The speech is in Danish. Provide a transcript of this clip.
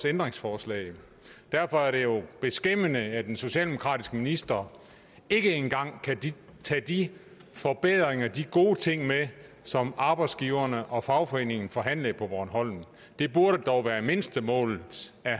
ændringsforslag derfor er det jo beskæmmende at en socialdemokratisk minister ikke engang kan tage de forbedringer de gode ting med som arbejdsgiveren og fagforeningen forhandlede på bornholm det burde dog være mindstemålet af